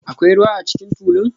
Akwai ruwa a cikin tulun?